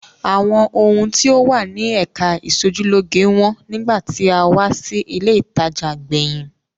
Àwọn ohun tí ó wà ní ẹ̀ka ìṣojúlóge wọ́n nígbà tí a wá sí ilé-ìtajà gbẹ̀yìn.